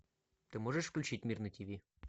ты можешь включить мир на тв